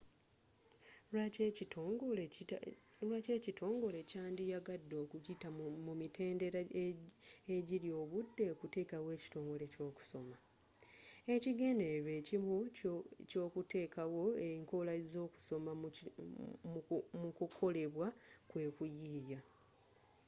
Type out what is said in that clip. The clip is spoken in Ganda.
lwaki ekitongole kyandiyagadde okuyita mu mitendera egirya obudde okuteekawo ekitongole ky'okusoma ekigendererwa ekimu eky'okuteekawo enkola z'okusoma mu kukolebwa kwe kuyiiya